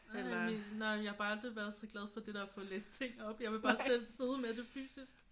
Nej men nej jeg har bare aldrig været så glad for det der med at få læst ting op. Jeg vil bare selv sidde med det fysisk